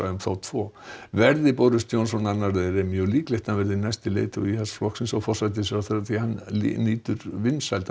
um þá tvo Verði Johnson annar þeirra er mjög líklegt að hann verði næsti leiðtogi Íhaldsflokksins og forsætisráðherra því hann nýtur vinsælda